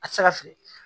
A tɛ se ka fili